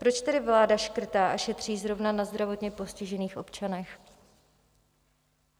Proč tedy vláda škrtá a šetří zrovna na zdravotně postižených občanech?